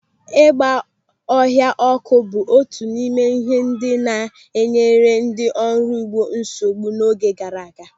Ịgba ọhịa ọ́kụ́ bụ otu n'ime ihe ndị na-enyere ndị ọrụ ugbo nsogbu n'oge gara aga.